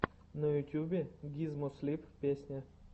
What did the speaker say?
на ютьюбе гизмо слип песня